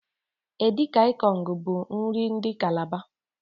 Edi kan ikong bu nri ndi Kalaba.